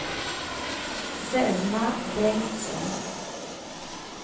Selma Bengtsson